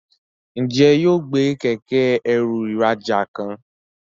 Njé yóò gbé Kẹ̀kẹ́-ẹrù ìrajà kan?